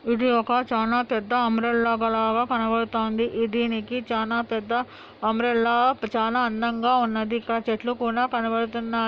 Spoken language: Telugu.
ఇది ఒక చానా పెద్ద అంబ్రెల్లా లాగ కనబడతాంది దీనికి చానా పెద్ద అంబ్రెల్లా చానా అందంగా ఉన్నదీ ఇంకా చెట్లు కూడా కనబడుతున్నాయి.